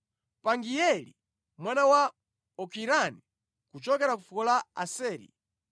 Pagieli mwana wa Okirani, kuchokera ku fuko la Aseri,